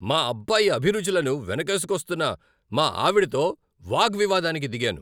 మా అబ్బాయి అభిరుచులను వెనకేసుకొస్తున్న మా ఆవిడతో వాగ్వివాదానికి దిగాను.